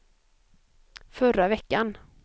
förra veckan